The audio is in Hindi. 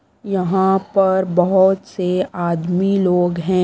यहां पर बहुत से आदमी लोग हैं।